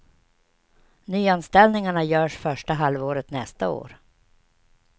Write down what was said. Nyanställningarna görs första halvåret nästa år.